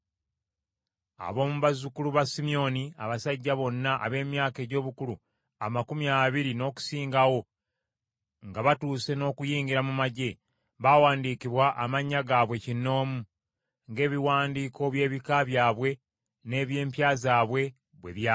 Ab’omu bazzukulu ba Simyoni: Abasajja bonna ab’emyaka egy’obukulu amakumi abiri n’okusingawo nga batuuse n’okuyingira mu magye, baawandiikibwa amannya gaabwe kinnoomu, ng’ebiwandiiko by’ebika byabwe n’eby’empya zaabwe bwe byali.